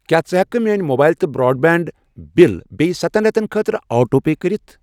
کیٛاہ ژٕ ہٮ۪کہٕ کھہ میٲنۍ موبایِل تہٕ برٛاڈ بینٛڈ بِلہٕ بییٚہِ ستنَ رٮ۪تن خٲطرٕ آٹو پے کٔرِتھ؟